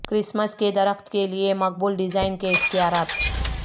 Christmas کے درخت کے لئے مقبول ڈیزائن کے اختیارات